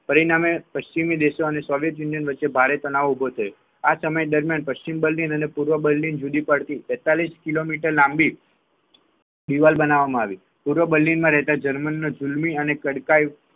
પરિણામે પશ્ચિમ દેશો સોંગટે યુનિયન વચ્ચે ભારે તનાવ ઉભો થયો આ સમય દરમિયાન પશ્ચિમ બલિન અને પૂર્વ બલિન જુદી પડતી તેતાડસીસ કિલો મીટર લાંબી દીવાલ બનાવવામાં આવી પૂર્વ બર્લિનમાં રહેતા જર્મન જુલમી અને તડકા